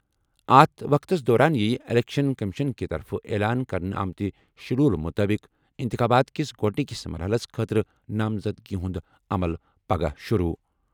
اتھ وقتس دوران یِیہِ اِلیکشَن کٔمِشن کہِ طرفہٕ اعلان کرنہٕ آمٕتہِ شیڈول مُطٲبِق اِنتِخابات کِس گۄڈٕنِکِس مرحلَس خٲطرٕ نامزدٕگی ہُنٛد عمل پَگہہ شُروٗع۔